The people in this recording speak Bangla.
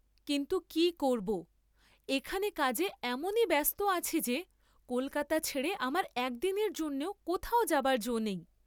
কিন্তু কি করবো এখানে কাজে এমনি ব্যস্ত আছি যে কল্‌কাতা ছেড়ে আমার একদিনের জন্যও কোথাও যাবার যাে নেই।